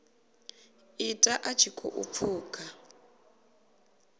ita a tshi khou pfuka